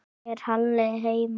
Er Halli heima?